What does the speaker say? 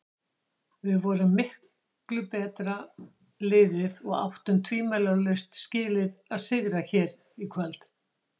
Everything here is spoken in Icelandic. Við vorum miklu betra liðið og áttum tvímælalaust skilið að sigra hér í kvöld.